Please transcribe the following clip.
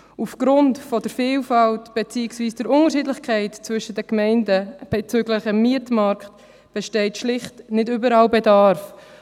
Aufgrund der Vielfalt beziehungsweise der Unterschiedlichkeit zwischen den Gemeinden bezüglich des Mietmarkts besteht schlicht nicht überall Bedarf.